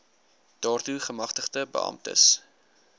daartoe gemagtigde beamptes